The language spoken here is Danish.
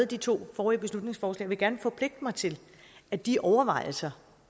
de to forrige beslutningsforslag vil jeg gerne forpligte mig til at de overvejelser